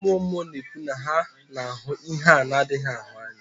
Ndị mmụọ mmụọ na-ekwu na ha na-ahụ ihe a na-adịghị ahụ anya